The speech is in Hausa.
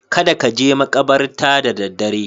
Kada ka je maƙabarta da daddare.